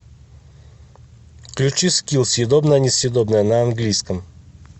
включи скилл съедобное несъедобное на английском